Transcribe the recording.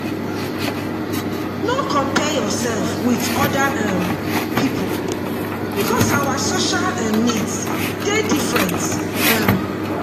No compare yourself with oda um pipo because our social um needs dey different um